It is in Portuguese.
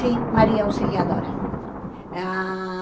Sim, Maria Auxiliadora. Ah